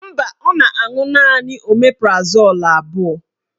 Mba, ọ na-aṅụ naanị omeprazol abụọ